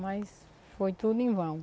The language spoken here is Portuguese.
Mas foi tudo em vão.